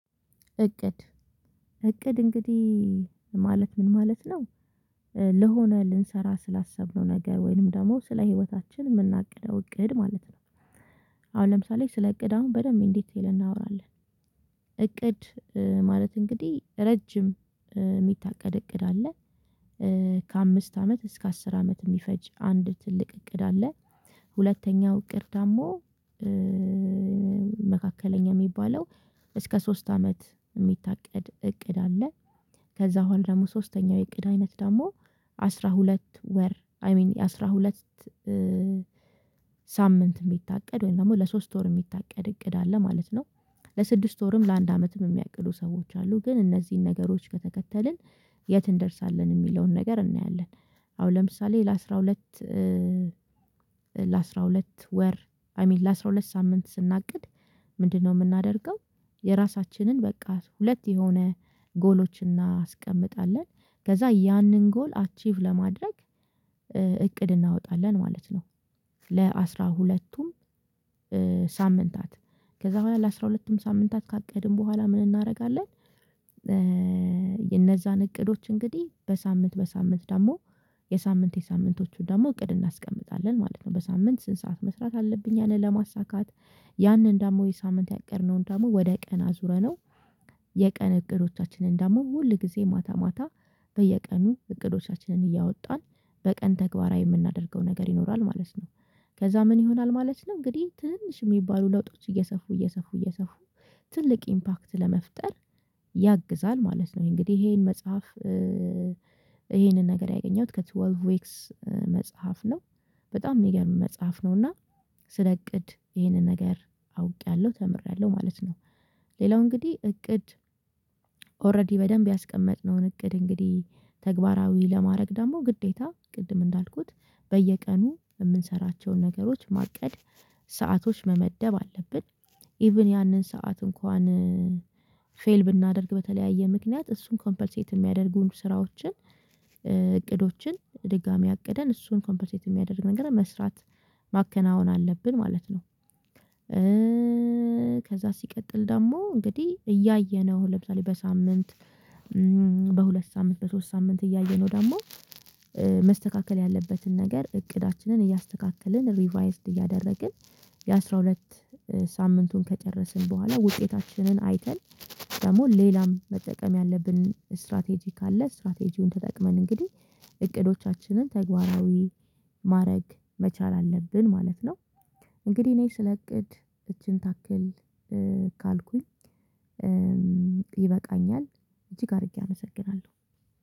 እቅድ እቅድ እንግዲህ ማለት ምን ማለት ነው? ለሆነ ልንሰራ ስላሰብነው ነገ ወይንም ደግሞ ስለ ህይወታችን የምናግደው እቅድ ማለት ነው። አሁን ለምሳሌ ስለ እቅድ አሁን በደንብ እንዴት ቴል እናወራለን። እቅድ ማለት እንግዲህ ረጅም የሚታቀድ እቅድ አለ። ከአምስት አመት እስከ አስር አመት የሚፈጅ አንድ ትልቅ እቅድ አለ። ሁለተኛው እቅር ደግሞ መካከለኛ የሚባለው እስከ ሶስት አመት የሚታቀድ እቅድ አለ። ከዛ በኋላ ደግሞ ሶስተኛው የእቅድ አይነት ደግሞ አስራ ሁለት ወር አይ ሚን አስራ ሁለት ሳምንት የሚታቀድ ወይም ደግሞ ለሶስት ወር የሚታቀድ እቅድ አለ ማለት ነው። ለስድስት ወርም ለአንድ አመትም የሚያቅዱ ሰዎች አሉ ግን እነዚህን ነገሮች ከተከተልን የት እንደርሳለን የሚለውን ነገር እናያለን። አሁን ለምሳሌ ለአሥራ ሁለት ለአስራ ሁለት ወር አይ ሚን ለአስራ ሁለት ሳምንት ስናቅድ ምንድነው የምናደርገው? የራሳችንን በቃ ሁለት የሆነ ጎሎችን እናስቀምጣለን ከዛ ያንን ጎል አቺቭ ለማድረግ እቅድ እናወጣለን ማለት ነው። ለአስራ ሁለቱም ሳምንታት ከዛ በኋላ ለአሥራ ሁለትም ሳምንታት ካቀድን በኋላ ምን እናደርጋለን? እነዛን እቅዶች እንግዲህ በሳምንት በሳምንት ደግሞ የሳምንት የሳምንቶቹን ደግሞ እቅድ እናስቀምጣለን ማለት ነው። በሳምንት ስንት ሰዓት መስራት አለብኝ ያንን ለማሳካት ያንን ደግሞ የሳምንት ያቀድነውን ደግሞ ወደ ቀን አዙረነው የቀን እቅዶቻችንን ደግሞ ሁል ጊዜ ማታ ማታ በየቀኑ እቅዶቻችንን እያወጣን በቀን ተግባራዊ የምናደርገው ነገር ይኖራል ማለት ነው። ከዛ ምን ይሆናል ማለት ነው እንግዲህ ትንሽ የሚባሉ ለውጦች እየሰፉ እየሰፉ እየሰፉ ትልቅ ኢምፓክት ለመፍጠር ያግዛል ማለት ነው። እንግዲህ ይሄን መጽሐፍ ይሄንን ነገር ያገኘሁት ከወልቭ ዌክስ መጽሐፍ ነው በጣም የሚገርም መጽሐፍ ነውና ስለ እቅድ ይሄንን ነገር አውቄያለሁ ተምሬያለሁ ማለት ነው። ሌላው እንግዲህ እቅድ ኦሬዲ በደንብ ያስቀመጥነውን እቅድ እንግዲህ ተግባራዊ ለማድረግ ደግሞ ግዴታ ቅድም እንዳልኩት በየቀኑ የምንሰራቸውን ነገሮች ማቀድ ሰአቶች መመደብ አለብን። ኢቭን ያንን ሰዓት እንኳን ፌል ብናደርግ በተለያየ ምክንያት እሱን ኮምፐልሴት የሚያደርጉ ስራዎችን እቅዶችን ድጋሚ አቅደን እሱን ኮምፐንሴት የሚያደርግ ነገር መስራት ማከናወን አለብን ማለት ነው። ከዛ ሲቀጥል ደግሞ እንግዲህ እያየነው ለምሳሌ በሳምንት በሁለት ሳምንት በሶስት ሳምንት እያየነው ደግሞ መስተካከል ያለበትን ነገር እቅዳችንን እያስተካከልን ሪቫይዝድ እያደረግን የአሥራ ሁለት ሳምንቱን ከጨረስን በኋላ ውጤታችንን አይተን ደግሞ ሌላም መጠቀም ያለብን ስትራቴጂ ካለ ስትራቴጂውን ተጠቅመን እንግዲህ እቅዶቻችንን ተግባራዊ ማድረግ መቻል አለብን ማለት ነው። እንግዲህ እኔ ስለእቅድ እቺን ታክል ካልኩኝ ይበቃኛል። እንጂ ጋር አድርጌ አመሰግናለሁ